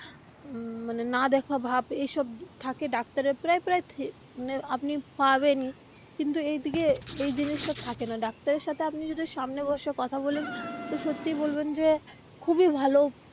মানে না দেখা ভাব এইসব থাকে ডাক্তারের প্রায় প্রায় মানে আপনি পাবেনই কিন্তু এইদিকে এই জিনিসটা থাকে না ডাক্তার এর সাথে আপনি যদি সামনে বসে কথা বলেন তো সত্যিই বলবেন যে খুবই ভালো.